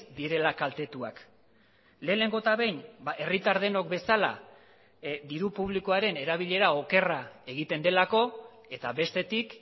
direla kaltetuak lehenengo eta behin herritar denok bezala diru publikoaren erabilera okerra egiten delako eta bestetik